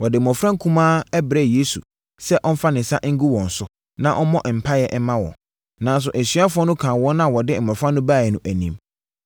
Wɔde mmɔfra nkumaa brɛɛ Yesu sɛ ɔmfa ne nsa ngu wɔn so, na ɔmmɔ mpaeɛ mma wɔn. Nanso, asuafoɔ no kaa wɔn a wɔde mmɔfra no baeɛ no anim.